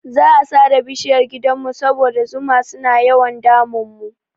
Za'a sare bishiyar gidanmu saboda zuma suna yawan damun mu.